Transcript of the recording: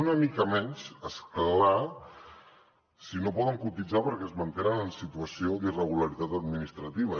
una mica menys és clar si no poden cotitzar perquè es mantenen en situació d’irregularitat administrativa